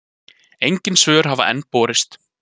Engin svör hafa enn borist.